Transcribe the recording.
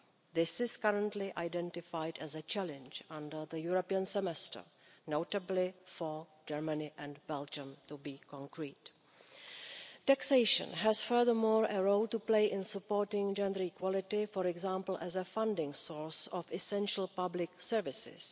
This is currently identified as a challenge under the European Semester, notably for Germany and Belgium, to be specific. Taxation has furthermore a role to play in supporting gender equality, for example as a funding source of essential public services.